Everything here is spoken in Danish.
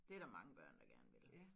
Dét der mange børn der gerne vil